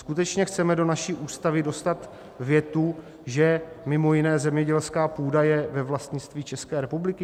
Skutečně chceme do naší Ústavy dostat větu, že mimo jiné zemědělská půda je ve vlastnictví České republiky?